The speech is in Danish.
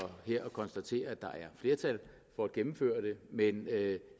konstaterer at der er flertal for at gennemføre det men jeg